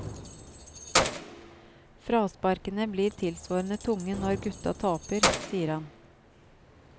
Frasparkene blir tilsvarende tunge når gutta taper, sier han.